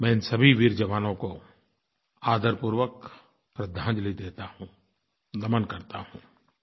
मैं इन सभी वीर जवानों को आदरपूर्वक श्रद्धांजलि देता हूँ नमन करता हूँ